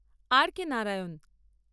আর K Narayan